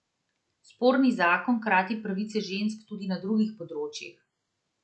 Sporni zakon krati pravice žensk tudi na drugih področjih.